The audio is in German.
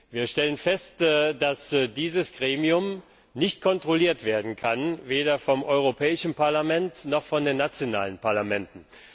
Wir stellen fest, dass dieses Gremium nicht kontrolliert werden kann, weder vom Europäischen Parlament noch von den nationalen Parlamenten.